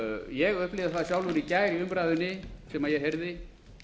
ég upplifði það sjálfur í gær í umræðunni sem ég heyrði